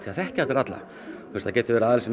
þekkja allir alla það getur verið aðili sem